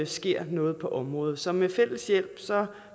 sker noget på området så med fælles hjælp